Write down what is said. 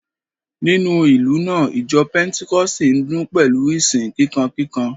Nínú ìlú náà, ìjọ pẹ́ńtíkọ́ọ̀sì ń dún pẹ̀lú ìsìn kíkankíkan